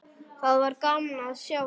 Það var gaman að sjá þig.